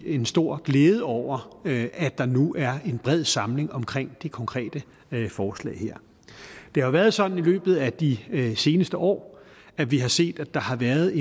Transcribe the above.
en stor glæde over at der nu er en bred samling omkring det konkrete forslag her det har været sådan i løbet af de seneste år at vi har set at der har været